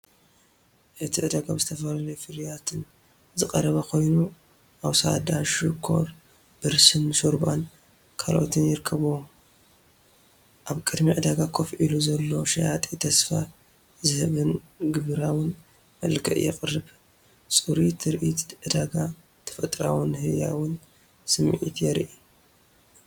እቲ ዕዳጋ ብዝተፈላለዩ ፍርያት ዝተሰቐረበ ኮይኑ፡ ኣወስዳ፡ ሽኮርላ፡ ብርስን፡ ሾርባን ካልእን ይርከብዎም። ኣብ ቅድሚ ዕዳጋ ኮፍ ኢሉ ዘሎ ሸያጢ ተስፋ ዝህብን ግብራውን መልክዕ የቕርብ። ጽሩይ ትርኢት ዕዳጋ፡ ተፈጥሮኣውን ህያውን ስምዒት የርኢ።